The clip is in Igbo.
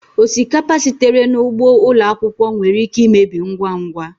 Osikapa sitere n'ugbo ụlọ akwụkwọ nwere ike imebi ngwa ngwa